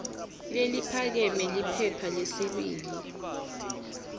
leliphakeme liphepha lesibili